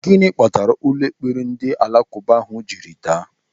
Gịnị kpatara ụlọ ekpere ndị alakụba ahụ jiri daa?